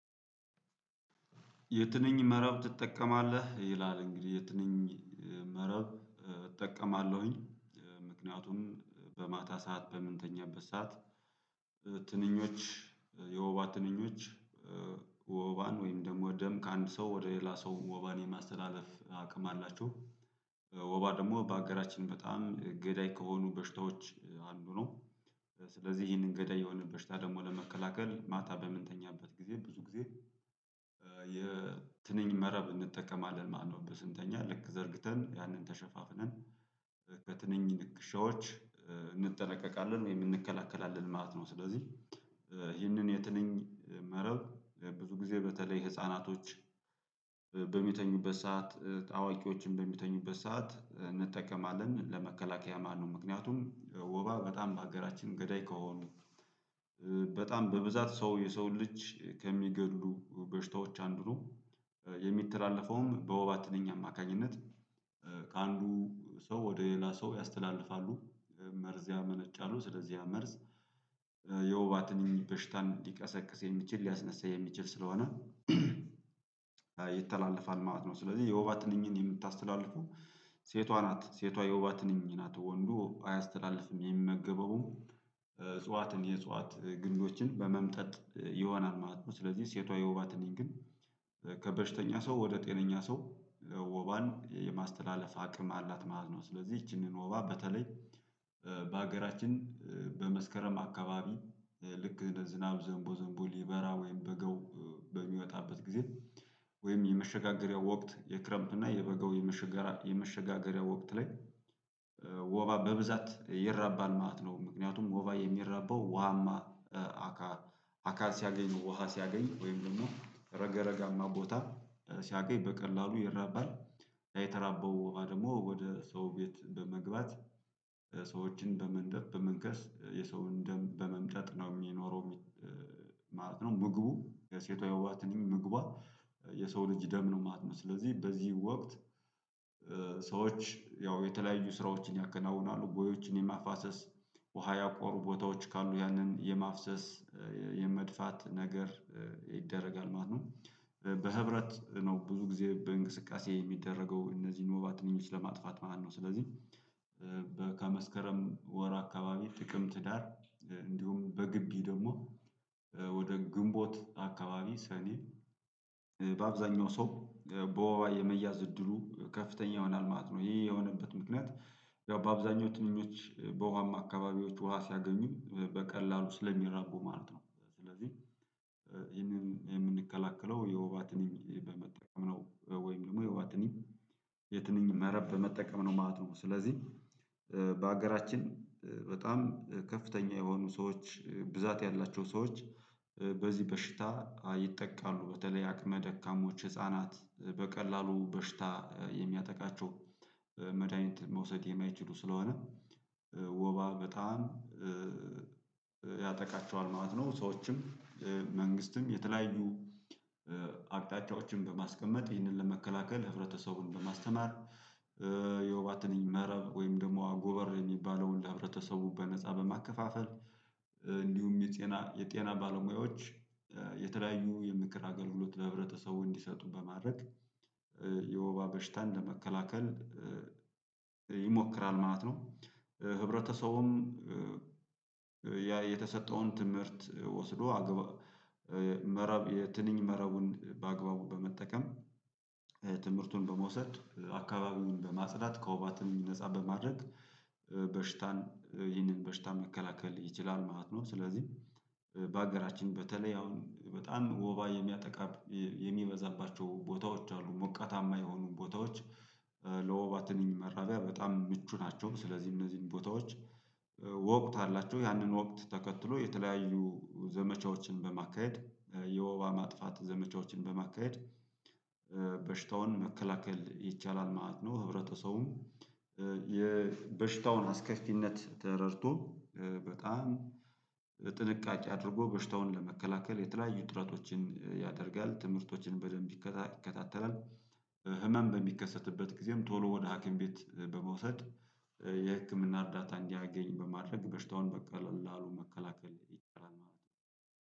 የትንኝ መረብ ትጠቀማለህ ይላል? እንግዲህ የትንኝ መረብ እጠቀማለሁኝ። ምክንያቱም በማታ ሰዓት በምንተኛበት ሰዓት ትንኞች የወባ ትንኞች ወባን ወይም ደግሞ ደም ከአንድ ሰው ወደ ሌላ ሰው ወባን የማስተላለፍ አቅም አላቸው። ወባ ደግሞ በአገራችን በጣም ገዳይ ከሆኑ በሽታዎች አንዱ ነው። ስለዚህ ይሄንን ገዳይ የሆነ በሽታ ደግሞ ለመከላከል ማታ በምንተኛበት ጊዜ ብዙ ጊዜ የትንኝ መረብ እንጠቀማለን ማለት ነው። በስንተኛ ልክ ዘርግተን ያንን ተሸፋፍነን ከትንንሽ ልክሼዎች እንጠለቀቃለን የምንከላከላለን ማለት ነው። ስለዚህ ይህንን የትንኝ መረብ ብዙ ጊዜ በተለይ ህፃናቶች በሚተኙበት ሰዓት አዋቂዎችን በሚተኙበት ሰዓት እንጠቀማለን ለመከላከያ ማለት ነው። ምክንያቱም ወባ በጣም በሀገራችን ገዳይ ከሆኑ በጣም በብዛት ሰው የሰውን ልጅ ከሚገድሉ በሽታዎች አንዱ ነው። የሚተላለፈውም በወባ ትንኝ አማካኝነት። ከአንዱ ሰው ወደ ሌላ ሰው ያስተላልፋሉ። መርዝ ያመነጫሉ ስለዚህ ያ መርዝ የወባ ትንኝ በሽታን ሊቀሰቅስ የሚችል ሊያስነሳ የሚችል ስለሆነ ይተላለፋል ማለት ነው። ስለዚህ የወባ ትንኝን የምታስተላልፉ ሴቷ ናት ሴቷ የወባ ትንኝ ናት ወንዱ አያስተላልፍም የሚመገበውም እጽዋትን የእጽዋት ግንዶችን በመምጠጥ ይሆናል ማለት ነው። ስለዚህ ሴቷ የወባ ትንኝ ግን ከበሽተኛ ሰው ወደ ጤነኛ ሰው ወባን የማስተላለፍ አቅም አላት ማለት ነው። ስለዚህ ይቺንን ወባ በተለይ በሀገራችን በመስከረም አካባቢ ልክ ዝናብ ዘንቦ ዘንቦ ሊበራ ወይም በጋው በሚወጣበት ጊዜ ወይም የመሸጋገሪያው ወቅት የክረምት እና የበጋው የመሸጋገሪያ ወቅት ላይ ወባ በብዛት ይራባል ማለት ነው። ምክንያቱም ወባ የሚረባው ውሃማ አካ አካ ሲያገኝ ውሃ ሲያገኝ ወይም ደግሞ ረግረጋማ ቦታ ሲያገኝ በቀላሉ ይራባል፤ የተራበው ወባ ደግሞ ወደ ሰው ቤት በመግባት ሰዎችን በመንደፍ በመንከስ የሰውን ደም በመምጠጥ ነው የሚኖረው ማለት ነው። ምግቡ የሴቷ የወባ ትንኝ ምግቧ የሰው ልጅ ደም ነው ማለት ነው። ስለዚህ በዚህ ወቅት ሰዎች ያው የተለያዩ ስራዎችን ያከናውናሉ ቦዮችን የማፋሰስ ውሃ ያቆሩ ቦታዎች ካሉ ያንን የማፍሰስ የመድፋት ነገር ይደረጋል ማለት ነው፤ በህብረት ነው ብዙ ጊዜ በእንቅስቃሴ የሚደረገው እነዚህን ወባ ትንኞች ለማጥፋት ማለት ነው። ስለዚህ በከመስከረም ወር አካባቢ ጥቅምት ትዳር እንዲሁም በግቢ ደግሞ ወደ ግንቦት አካባቢ ሰኔ በአብዛኛው ሰው በወባ የመያዝ እድሉ ከፍተኛ ይሆናል ማለት ነው። ይሄ የሆነበት ምክንያት በአብዛኞቹ ትንኞች በውሃማ አካባቢዎች ውሃ ሲያገኙ በቀላሉ ስለሚራቡ ማለት ነው። ስለዚህ ይሄንን የምንከላከለው የወባ ትንኝ በመጠቀም ነው ወይም ደግሞ የወባ ትንኝ የትንኝ መረብ በመጠቀም ነው ማለት ነው። ስለዚህ በሀገራችን በጣም ከፍተኛ የሆኑ ሰዎች ብዛት ያላቸው ሰዎች በዚህ በሽታ ይጠቃሉ በተለይ አቅመ ደካሞች ህፃናት በቀላሉ በሽታ የሚያጠቃቸው መድሃኒት መውሰድ የማይችሉ ስለሆነ ወባ በጣም ያጠቃቸዋል ማለት ነው። ሰዎችም መንግስትም የተለያዩ በማስቀመጥ ይህንን ለመከላከል ህብረተሰቡን በማስተማር የወባ ትንኝ መረብ ወይም ደግሞ ጎበር የሚባለውን ለህብረተሰቡ በነፃ በማከፋፈል እንዲሁም የጤና የጤና ባለሙያዎች የተለያዩ የምክር አገልግሎት ለህብረተሰቡ እንዲሰጡ በማድረግ የወባ በሽታን ለመከላከል ይሞክራል ማለት ነው። ህብረተሰቡም የተሰጠውን ትምህርት ወስዶ መረብ የትንኝ መረቡን በአግባቡ በመጠቀም ትምህርቱን በመውሰድ አካባቢውን በማጽዳት ከወባ ትንኝ ነፃ በማድረግ በሽታን ይህንን በሽታ መከላከል ይችላል ማለት ነው። ስለዚህ በሀገራችን በተለይ አሁን በጣም ወባ የሚያጠቃ የሚበዛባቸው ቦታዎች አሉ ሞቃታማ የሆኑ ቦታዎች ለወባ ትንኝ መራቢያ በጣም ምቹ ናቸው። ስለዚህ እነዚህን ቦታዎች ወቅት አላቸው ያንን ወቅት ተከትሎ የተለያዩ ዘመቻዎችን በማካሄድ የወባ ማጥፋት ዘመቻዎችን በማካሄድ በሽታውን መከላከል ይቻላል ማለት ነው። ህብረተሰቡም የበሽታውን አስከፊነት ተረድቶ በጣም ጥንቃቄ አድርጎ በሽታውን ለመከላከል የተለያዩ ጥረቶችን ያደርጋል ትምህርቶችን በደንብ ይከታተላል። ህመም በሚከሰትበት ጊዜም ቶሎ ወደ ሀኪም ቤት በመውሰድ የህክምና እርዳታ እንዲያገኝ በማድረግ በሽታውን በቀላሉ መከላከል ይቻላል ማለት ነው፤